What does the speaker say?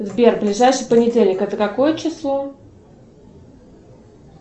сбер ближайший понедельник это какое число